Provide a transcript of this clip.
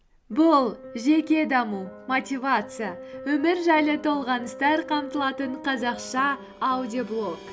бұл жеке даму мотивация өмір жайлы толғаныстар қамтылатын қазақша аудиоблог